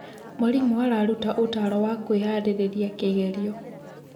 Mwarimũ araruta ũtaaro wa kwĩharĩrĩria kĩgerio.